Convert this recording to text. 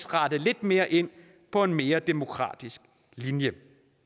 rettet lidt mere ind på en mere demokratisk linje